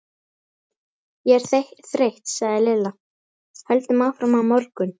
Ég er þreytt sagði Lilla, höldum áfram á morgun